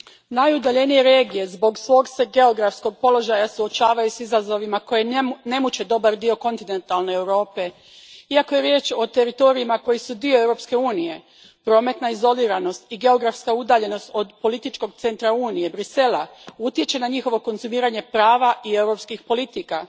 Gospodine predsjedniče, najudaljenije regije zbog svog se geografskog položaja suočavaju s izazovima koji ne muče dobar dio kontinentalne Europe. Iako je riječ o teritorijima koji su dio Europske unije, prometna izoliranost i geografska udaljenost od političkog centra Unije, Bruxellesa, utječe na njihovo konzumiranje prava i europskih politika.